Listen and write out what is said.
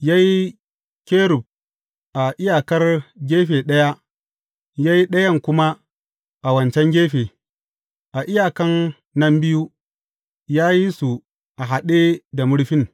Ya yi kerub a iyakar gefe ɗaya, ya yi ɗayan kuma a wancan gefe; a iyakan nan biyu, ya yi su a haɗe da murfin.